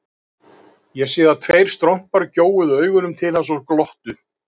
Ég sá að tveir strompar gjóuðu augunum til hans og glottu.